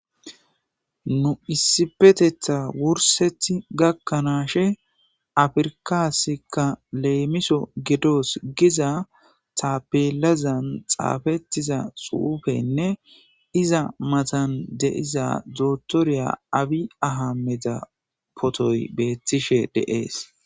nu issipetetha wursethi gakkanaashe afirkasikka leemiso gedoos giza taapelazan xaafettiza suufenne iza matan de7iza zotorya awi ahameta potoy beettishe deees